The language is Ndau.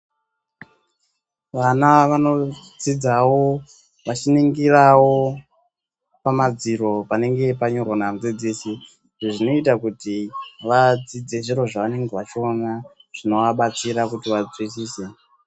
Vana vanodzidzawo vechiningirawo pamadziro panenge panyorwa namudzidzisi izvi zvinoitazvinoita kuti vadzidze zvinhu zvavanenge vachiona zvinovabatsira kuti vanzwisise.